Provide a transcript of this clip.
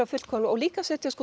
fullkomlega og líka að setja